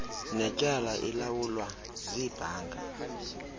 netyala ilawulwa ziibhanki